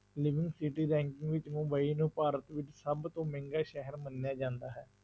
city ranking ਵਿੱਚ ਮੁੰਬਈ ਨੂੰ ਭਾਰਤ ਵਿੱਚ ਸਭ ਤੋਂ ਮਹਿੰਗਾ ਸ਼ਹਿਰ ਮੰਨਿਆ ਜਾਂਦਾ ਹੈ।